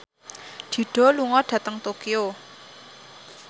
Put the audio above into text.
Dido lunga dhateng Tokyo